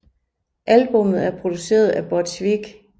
Albummet er produceret af Butch Vig